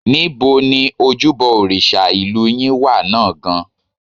Níbo ni ojúbọ òrìṣà ìlú yín wà náà gan-an?